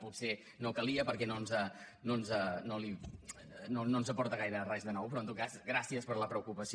potser no calia perquè no ens aporta gaire res de nou però en tot cas gràcies per la preocupació